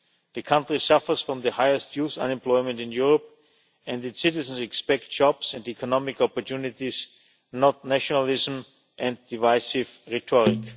The country suffers from the highest youth unemployment in Europe and its citizens expect jobs and economic opportunities, not nationalism and divisive rhetoric.